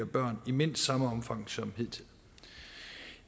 børn i mindst samme omfang som hidtil